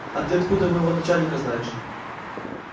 а ты откуда моего начальника знаешь